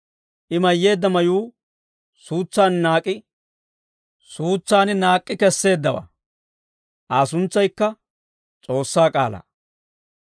I mayyeedda mayuu suutsan naak'k'i kesseeddawaa. Aa suntsaykka S'oossaa K'aalaa.